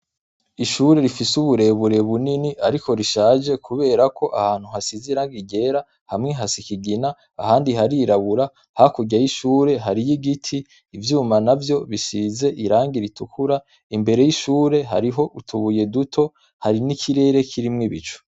Ishure rifise uburebure bunini ariko rishaje kubera ko ahantu hasize irangi ryera, hamwe hasa ikigina, ahandi harirabura, hakurya y'ishure hariyo igiti, ivyuma navyo bisize irangi ritukura, imbere y'ishure hariho utubuye duto, hari n'ikirere kirimwo ibicu.